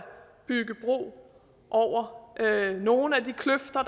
bygge bro over nogle af de kløfter